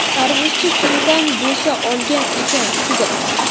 Tarvuzchi kimdan bo‘sa olgan ekan, qiziq.